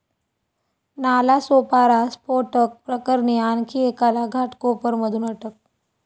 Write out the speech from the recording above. नालासोपारा स्फोटक प्रकरणी आणखी एकाला घाटकोपरमधून अटक